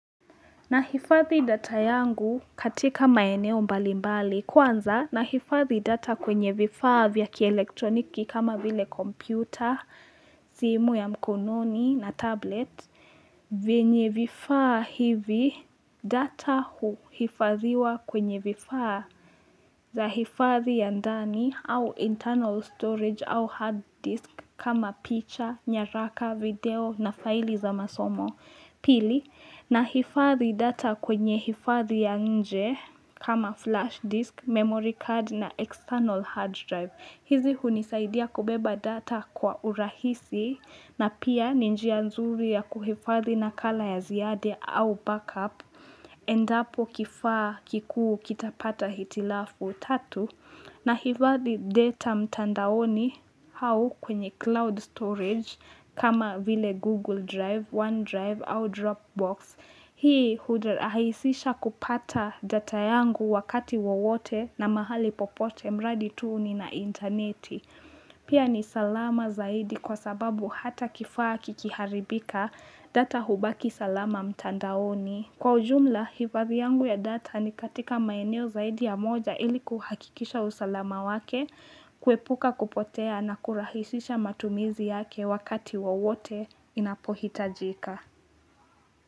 Nahifadhi data yangu katika maeneo mbali mbali. Kwanza, nahifadhi data kwenye vifaa vya kielektroniki kama vile kompyuta, simu ya mkononi na tablet. Vyenye vifaa hivi, data huhifadhiwa kwenye vifaa za hifadhi ya ndani au internal storage au hard disk kama picha, nyaraka, video na faili za masomo. Pili, nahifadhi data kwenye hifadhi ya nje kama flash disk, memory card na external hard drive. Hizi hunisaidia kubeba data kwa urahisi na pia ni njia nzuri ya kuhifadhi nakala ya ziada au backup. Endapo kifaa kikuu kitapata hitilafu. Tatu, nahifadhi data mtandaoni au kwenye cloud storage kama vile Google drive, one drive au drop box. Hii hurahisisha kupata data yangu wakati wowote na mahali popote mradi tu nina intaneti. Pia ni salama zaidi kwa sababu hata kifaa kikiharibika data hubaki salama mtandaoni. Kwa ujumla, hifadhi yangu ya data ni katika maeneo zaidi ya moja ili kuhakikisha usalama wake, kuepuka kupotea na kurahisisha matumizi yake wakati wowote inapohitajika.